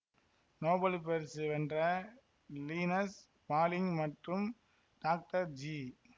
Nobel பரிசு வென்ற Linus Pauling மற்றும் டாக்டர் ஜி